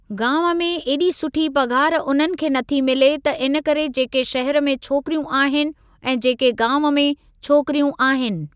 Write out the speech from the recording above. गांव में ऐॾी सुठी पगार उन्हनि खे नथी मिले त इनकरे जेके शहरु में छोकिरियूं आहिनि ऐं जेके गांव में छोकिरियूं आहिनि।